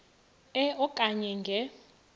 e okanye nge